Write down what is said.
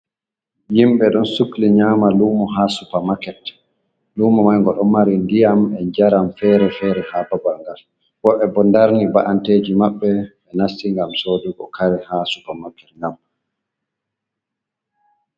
Himɓe don sukli nyama lumo ha supermaket lumo mai ngo ɗon mari ndiyam e jaram fere-fere ha babal gal wobe bo darni ba'anteji maɓɓe ɓe nasti ngam sodugo kare ha supermaket ngam.